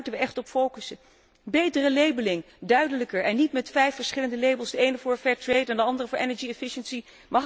Dus daar moeten we echt op focussen. Betere labelling, duidelijker en niet met vijf verschillende labels de ene voor fair trade en de andere voor energie efficiëntie.